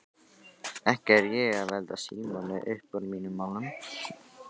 Ekki er ég að velta Símoni uppúr mínum málum.